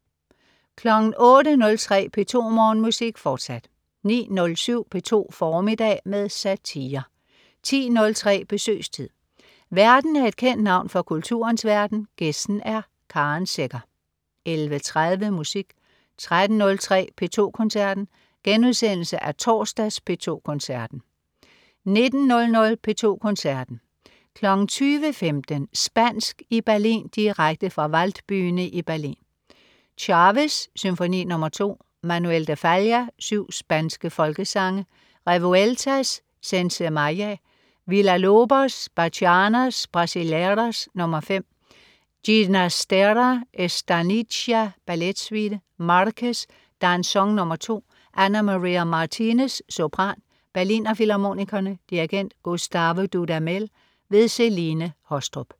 08.03 P2 Morgenmusik, fortsat 09.07 P2 formiddag med satire 10.03 Besøgstid. Værten er et kendt navn fra kulturens verden, gæsten er Karen Secher 11.30 Musik 13.03 P2 Koncerten. Genudsendelse af torsdags P2 Koncerten* 19:00 P2 Koncerten. 20.15 Spansk i Berlin, direkte fra Waldbühne i Berlin. Chávez: Symfoni nr. 2. Manuel de Falla: Syv spanske folkesange. Revueltas: Sensemayá. Villa-Lobos: Bachianas Brasileiras nr. 5. Ginastera: Estanicia, balletsuite. Marquez: Danzón nr. 2. Ana María Martínez, sopran. Berliner Filharmonikerne. Dirigent: Gustavo Dudamel. Celine Haastrup